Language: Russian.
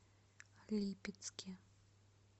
липецке